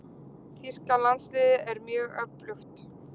Þýska landsliðið er mjög öflugt.